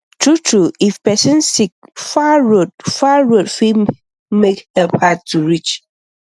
true true if person sick far road far road fit make help hard to reach